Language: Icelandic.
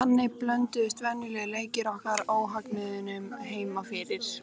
Þannig blönduðust venjulegir leikir okkar óhugnaðinum heima fyrir.